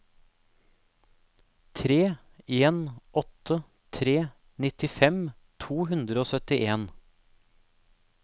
tre en åtte tre nittifem to hundre og syttien